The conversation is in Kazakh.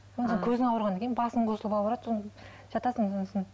одан көзің ауырғаннан кейін басың қосылып ауырады жатасың сосын